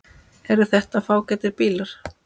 Eru þetta fágætir bílar?